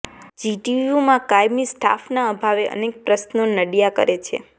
જીટીયુમાં કાયમી સ્ટાફના અભાવે અનેક પ્રશ્નો નડયા કરે છે